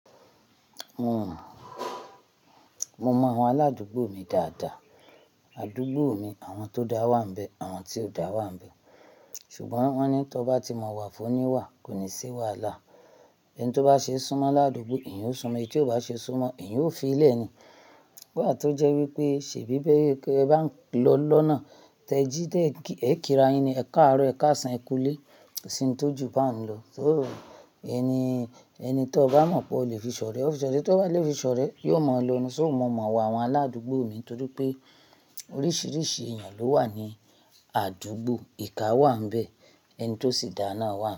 Mo mọ àwọn aládùúgbò mi dáadáa. Àdúgbò mi àwọn tó dá wà ń bẹ, àwọn tí ò dá wà ń bẹ. Ṣùgbọ́n wọ́n ní tí ọ bá ti mọ wa, fún oni wà, kò ní si wàláà. Ẹni tí ó bá ṣe súnmọ́ ládùúgbò, eyan ó súnmọ́, e tí ó bá ṣe súnmọ́, ẹ̀yán ó fi lẹ́ ni. Wà tó jẹ́ wípé ṣe bí bẹ́ ké ẹ bá ń lọ lọ́nà tẹ jí té è kíra yin ni, ẹ̀ka àárọ̀, ẹ̀ka àṣàn, ẹ kú lé, síi ń tójú bá ń lọ. So ẹni, ẹni t'ọ bá mọ̀ pé ó lè fi sọ̀rẹ́, ó fi sọ̀rẹ́. T'ó bá lè fi sọ̀rẹ́, yóò mọ̀ lọ ni. So mo mọ iwa àwọn aládùúgbò mi nítorí pé oríṣiríṣi èèyàn ló wà ní àdúgbò. Ìka wà ń bẹ, ẹni tó sì dá a náà wà.